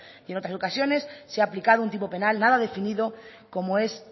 y en otras ocasiones se ha aplicado un tipo penal nada definido como es